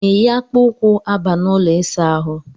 I na-eyi akpa ụkwụ aba n'ụlọ ịsa ahụ?